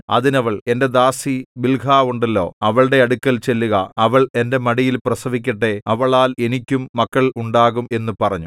അതിന് അവൾ എന്റെ ദാസി ബിൽഹാ ഉണ്ടല്ലോ അവളുടെ അടുക്കൽ ചെല്ലുക അവൾ എന്റെ മടിയിൽ പ്രസവിക്കട്ടെ അവളാൽ എനിക്കും മക്കൾ ഉണ്ടാകും എന്നു പറഞ്ഞു